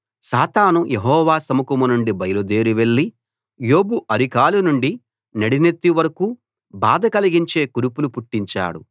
సాతాను యెహోవా సముఖం నుండి బయలుదేరి వెళ్లి యోబు అరికాలు నుండి నడినెత్తి వరకూ బాధ కలిగించే కురుపులు పుట్టించాడు